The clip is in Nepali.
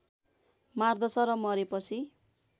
मार्दछ र मरेपछि